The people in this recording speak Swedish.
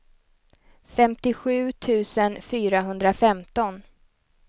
femtiosju tusen fyrahundrafemton